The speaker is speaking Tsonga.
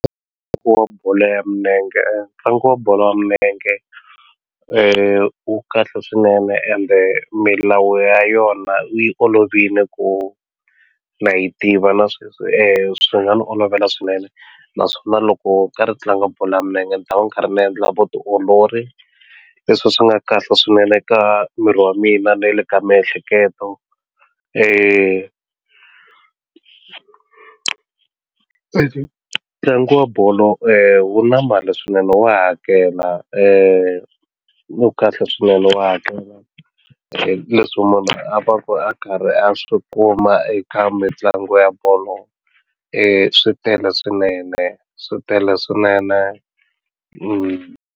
Ntlangu wa bolo ya milenge ntlangu wa bolo ya milenge wu kahle swinene ende milawu ya yona yi olovile ku na yi tiva na sweswi swi nga ni olovela swinene naswona loko karhi tlanga bolo ya milenge ni ta va ni karhi ni endla vutiolori leswi swi nga kahle swinene eka miri wa mina na le ka miehleketo ntlangu wa bolo wu na mali swinene wa hakela wu kahle swinene wa hakela leswi munhu a va ku a karhi a swi kuma eka mitlangu ya bolo swi tele swinene swi tele swinene.